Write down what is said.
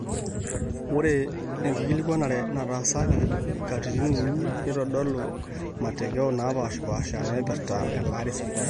ore enkikilikuanare nataasaki katitin uni neitodolua matokea naapaasha naaipirta elaare esipitali